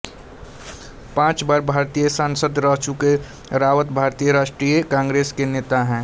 पाँच बार भारतीय सांसद रह चुके रावत भारतीय राष्ट्रीय कांग्रेस के नेता हैं